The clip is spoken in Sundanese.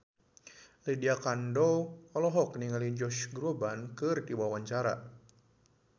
Lydia Kandou olohok ningali Josh Groban keur diwawancara